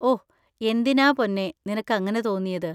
ഓ, എന്തിനാ പൊന്നേ നിനക്ക് അങ്ങനെ തോന്നിയത്?